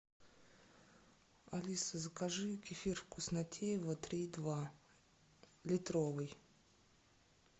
алиса закажи кефир вкуснотеево три и два литровый